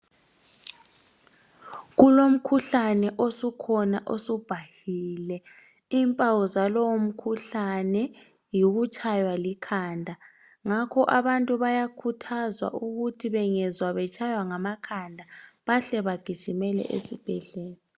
Kulomkhuhlane osukhona osubhahile, impawu zalowomkhuhlane yikutshaywa likhanda. Ngakho abantu bayakhuthazwa ukuthi bengezwa betshaywa ngamakhanda bahle bagijimele esibhedlela.